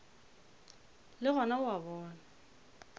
le gona o a bona